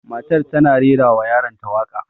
Matar tana rera wa yaron ta waƙa